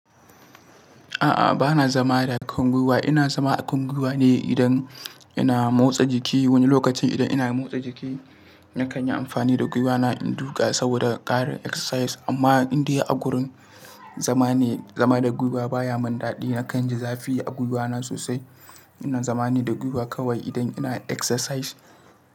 A'a, ba na zama da kan gwiwa. Ina zama a kan gwiwa ne idan ina motsa jiki wani lokacin. Idan ina motsa jiki, na kanyi amfani da gwiwana in duka saboda ƙarin exercise. Amma in dai a gurin zama ne, zama da gwiwa baya mun daɗi. Nakan ji zafi a gwiwana sosai. Ina zama ne da gwiwa kawai idan ina exercise.